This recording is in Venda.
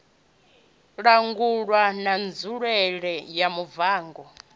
langulwa na nzulele ya muvhango